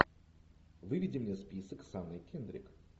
выведи мне список с анной кендрик